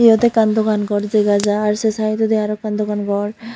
iyot ekkan dogan ghor dega jar se side odi aro ekkan dogan ghor.